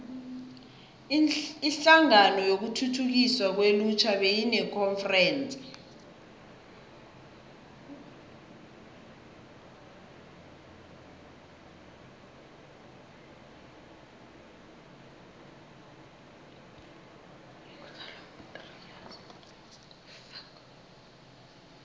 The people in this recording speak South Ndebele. inhlangano yokuthuthukiswa kwelutjha beyinekonferense